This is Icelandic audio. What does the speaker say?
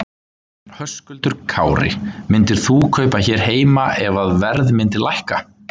Höskuldur Kári: Myndir þú kaupa hér heima ef að verð myndi lækka?